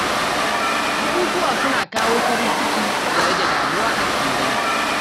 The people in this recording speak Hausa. Bukukuwa suna kawo farin ciki da rage damuwa a cikin dangi.